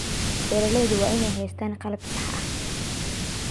Beeralaydu waa inay haystaan ??qalab sax ah.